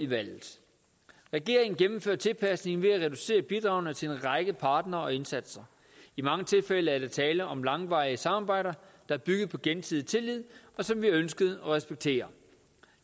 valget regeringen gennemførte tilpasningen ved at reducere bidragene til en række partnere og indsatser i mange tilfælde er der tale om langvarige samarbejder der er bygget på gensidig tillid og som vi ønskede at respektere